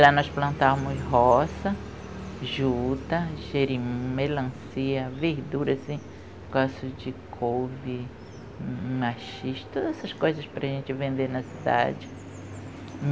Lá nós plantamos roça, juta, jerimum, melancia, verduras, gosto de couve, maxixe, todas essas coisas para a gente vender na cidade.